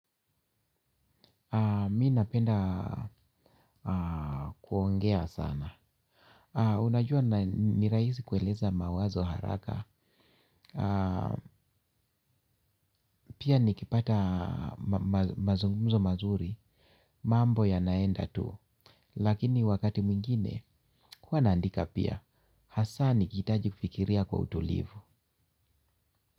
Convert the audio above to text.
Mi napenda aa kuongea sana. Unajua na ni rahisi kueleza mawazo haraka. Pia nikipata mazungumzo mazuri, mambo yanaenda tu. Lakini wakati mwingine huwa naandika pia. Hasa nikihitaji kufikiria kwa utulivu.